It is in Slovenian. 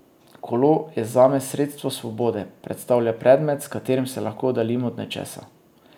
Kolo je zame sredstvo svobode, predstavlja predmet, s katerim se lahko oddaljim od nečesa.